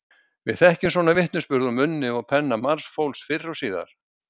Við þekkjum svona vitnisburð úr munni og penna margs fólks fyrr og síðar.